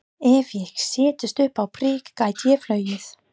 Ef ég settist upp á prik gæti ég flogið.